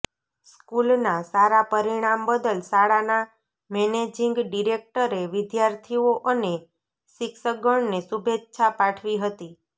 સ્કૂલના સારા પરિણામ બદલ શાળાના મેનેજીંગ ડિરેકટરે વિદ્યાર્થીઓ અને શિક્ષકગણને શુભેચ્છા પાઠવી હતી